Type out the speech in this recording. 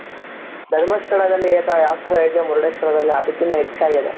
ಧರ್ಮಸ್ಥಳದಲ್ಲಿ ಯಾವ ತರ ಇದೆಯೋ ಮುರುಡೇಶ್ವರದಲ್ಲಿ ಅದಕಿನ್ನ ಹೆಚ್ಚಾಗಿದೆ.